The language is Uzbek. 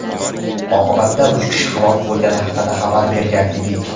oqibatda uch kishi halok bo‘lgani haqida xabar bergan edik.